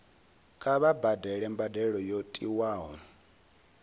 kha vha badele mbadelo yo tiwaho